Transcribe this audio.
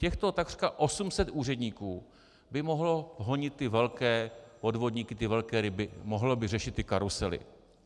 Těchto takřka 800 úředníků by mohlo honit ty velké podvodníky, ty velké ryby, mohlo by řešit ty karusely.